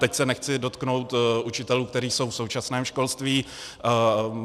Teď se nechci dotknout učitelů, kteří jsou v současném školství.